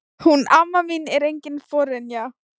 Hún amma mín er engin forynja.